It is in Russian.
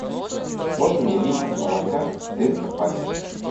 можно мне литр молока в тетрапаке